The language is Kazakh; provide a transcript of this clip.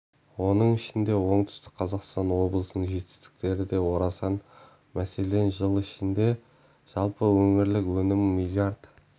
оның ішінде оңтүстік қазақстан облысының жетістіктері де орасан мәселен жыл ішінде жалпы өңірлік өнім млрд